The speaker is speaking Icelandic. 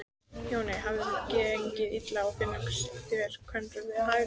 Jóni hafði gengið illa að finna sér kvenkost við hæfi.